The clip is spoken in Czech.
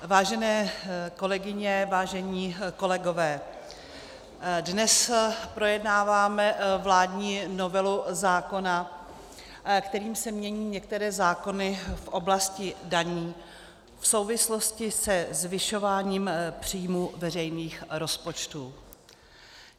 Vážené kolegyně, vážení kolegové, dnes projednáváme vládní novelu zákona, kterým se mění některé zákony v oblasti daní v souvislosti se zvyšováním příjmů veřejných rozpočtů.